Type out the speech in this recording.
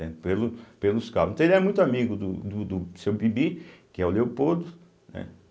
Pelo, pelos então ele era muito amigo do do do seu bibi, que é o Leopoldo, né.